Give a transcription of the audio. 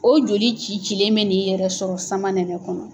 O joli cicilen bɛ n'i yɛrɛ sɔrɔ samanɛnɛ kɔnɔ.